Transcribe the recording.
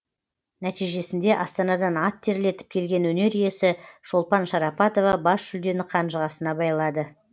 нәтижесінде астанадан ат терлетіп келген өнер иесі шолпан шарапатова бас жүлдені қанжығасына байлады